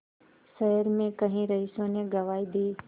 शहर में कई रईसों ने गवाही दी